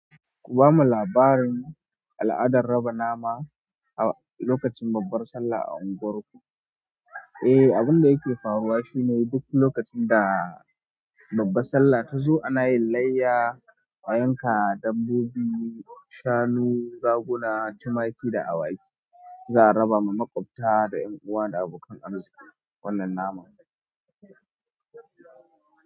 Ku bamu labarin al'adar raba nama a lokacin babbar Sallah a unguwarku. Eh, abin da yake faruwa shine duk lokacin da babbar Sallah ta zo ana yin layya, a yanka dabbobi, shanu, raguna, tumaki da awaki. Za a raba ma maƙwabta da 'yan uwa da abokan arziki wannan naman.